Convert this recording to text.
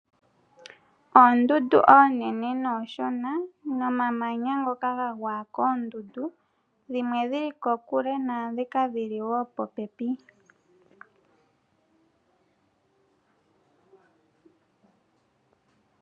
Oondundu oonene noonshona, nomamanya ngoka ga gwa koondundu. Dhimwe odhi li kokule naa ndhoka dhi li wo popepi.